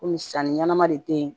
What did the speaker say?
Komi sanni ɲɛnɛma de te ye